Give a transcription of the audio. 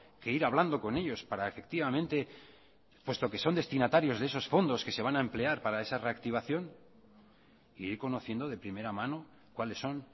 que ir hablando con ellos para efectivamente puesto que son destinatarios de esos fondos que se van a emplear para esa reactivación e ir conociendo de primera mano cuáles son